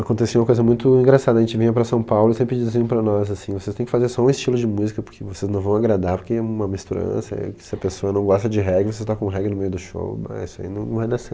Acontecia uma coisa muito engraçada, a gente vinha para São Paulo e sempre diziam para nós assim, vocês tem que fazer só um estilo de música porque vocês não vão agradar, porque é uma misturança, se a pessoa não gosta de reggae, você toca um reggae no meio do show, isso aí não não vai dar certo.